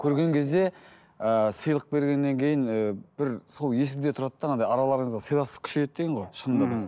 көрген кезде ыыы сыйлық бергеннен кейін ііі бір сол есіңде тұрады да анадай араларыңызды сыйластық күшейеді деген ғой шынында да ммм